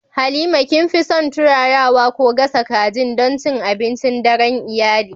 Halima, kin fi son turarawa ko gasa kajin don cin abincin daren iyali?